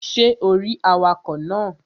Ṣé o rí awakọ̀ náà?